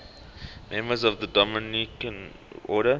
members of the dominican order